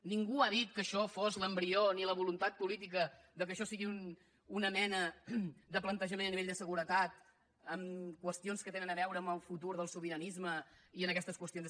ningú ha dit que això fos l’embrió ni la voluntat política que això sigui una mena de plantejament a nivell de seguretat amb qüestions que tenen a veure amb el futur del sobiranisme i aquestes qüestions